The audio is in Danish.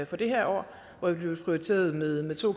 for det her år hvor det blev prioriteret med to